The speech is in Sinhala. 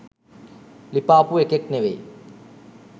ලිපාපු එකෙක් නෙමෙයි.